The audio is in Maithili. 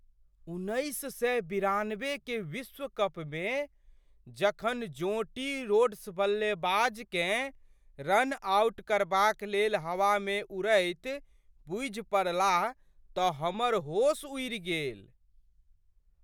उन्नैस सए बिरानबे के विश्व कपमे जखन जोंटी रोड्स बल्लेबाजकेँ रन आउट करबाक लेल हवामे उड़ैत बुझि पड़लाह तऽ हमर होश उड़ि गेल।